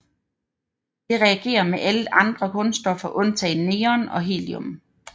Det reagerer med alle andre grundstoffer undtagen neon og helium